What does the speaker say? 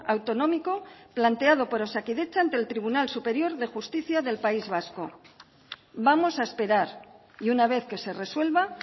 autonómico planteado por osakidetza ante el tribunal superior de justicia del país vasco vamos a esperar y una vez que se resuelva